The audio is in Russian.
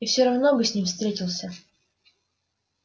и всё равно бы с ним встретился